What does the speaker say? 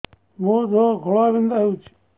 ମୋ ଦେହ ଘୋଳାବିନ୍ଧା ହେଉଛି